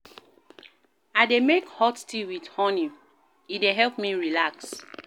I dey make hot tea wit honey, e dey help me relax.